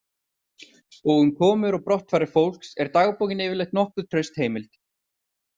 Og um komur og brottfarir fólks er dagbókin yfirleitt nokkuð traust heimild.